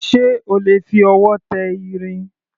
Ṣé o lè fi ọwọ́ tẹ irin?